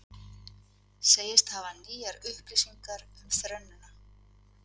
Segjast hafa nýjar upplýsingar um þernuna